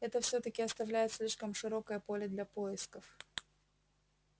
это всё-таки оставляет слишком широкое поле для поисков